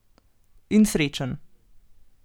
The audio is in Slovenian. In srečen.